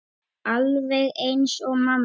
Alveg eins og mamma.